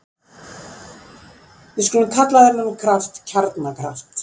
Við skulum kalla þennan kraft kjarnakraft.